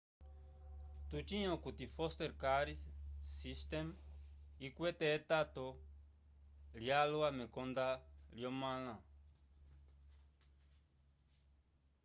tucĩ okuti foster care system ikwete etato lyalwa mekonda lyomãla